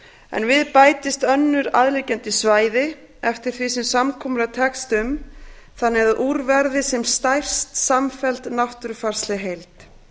en við bætist önnur aðliggjandi svæði eftir því sem samkomulag tekst um þannig að úr verði sem stærst samfelld náttúrufarsleg heild